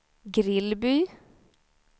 Grillby